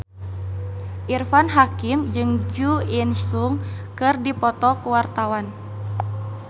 Irfan Hakim jeung Jo In Sung keur dipoto ku wartawan